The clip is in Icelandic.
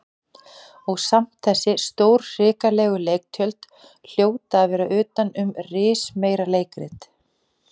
Og samt þessi stórhrikalegu leiktjöld hljóta að vera utan um rismeira leikrit.